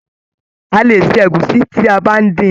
A lè ṣe egusi ti aba dín.